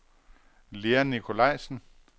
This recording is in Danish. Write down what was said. Lea Nicolajsen